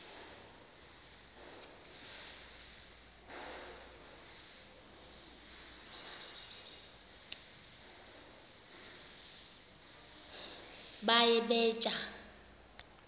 baye bee tyaa